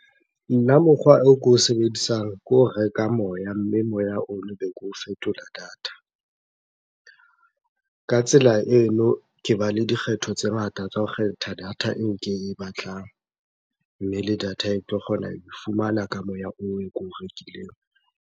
Nna mokgwa o ko o sebedisang ke ho reka moya, mme moya ono be ko fetola data. Ka tsela eno, ke ba le dikgetho tse ngata tsa ho kgetha data eo ke e batlang. Mme le data e tlo kgona ho e fumana ka moya oo o ko o rekileng.